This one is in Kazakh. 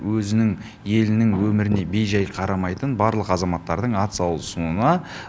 өзінің елінің өміріне бейжай қарамайтын барлық азаматтардың атсалысуына